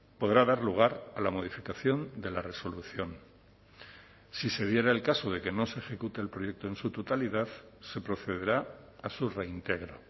podrá dar lugar a la modificación de la resolución si se diera el caso de que no se ejecute el proyecto en su totalidad se procederá a su reintegro